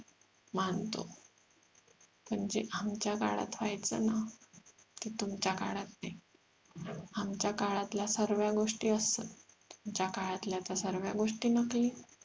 मानतो पण जे आमच्या काळात व्ह्यायच ना ते तुमच्या काळात नाही आमच्या काळातल्या सर्व्या गोष्टी अस्सल तुमच्या काळातल्या तर सर्व्या गोष्टी नकली